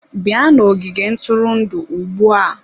Bịa n'ogige ntụrụndụ ugbu a!